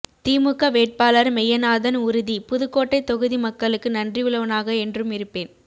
திமுக வேட்பாளர் மெய்யநாதன் உறுதி புதுக்கோட்டை தொகுதி மக்களுக்கு நன்றி உள்ளவனாக என்றும் இருப்பேன்